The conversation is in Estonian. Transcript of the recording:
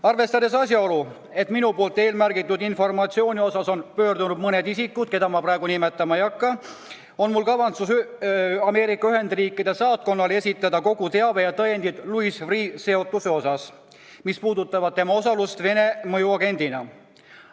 Arvestades asjaolu, et eelmärgitud informatsiooni osas on minu poole pöördunud mõned isikud, keda ma praegu nimetama ei hakka, on mul kavatsus esitada Ameerika Ühendriikide saatkonnale kogu teave ja kõik tõendid Louis Freeh' seotuse kohta, mis puudutavad tema osalust Vene mõjuagendina.